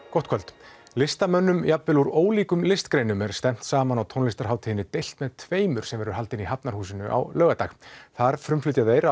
gott kvöld listamönnum jafnvel úr ólíkum listgreinum er stefnt saman á tónlistarhátíðinni deilt með tveimur sem verður haldin í Hafnarhúsinu á laugardag þar frumflytja þeir